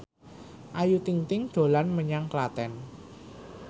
Ayu Ting ting dolan menyang Klaten